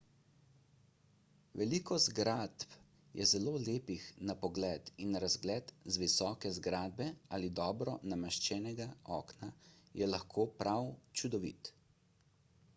veliko zgradb je zelo lepih na pogled in razgled z visoke zgradbe ali dobro nameščenega okna je lahko prav čudovit